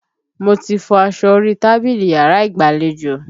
Mo ti fọ aṣọ orí tábìlì yàrá ìgbàlejò